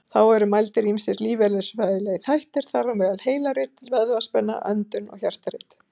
Þá eru mældir ýmsir lífeðlisfræðilegir þættir, þar á meðal heilarit, vöðvaspenna, öndun og hjartarit.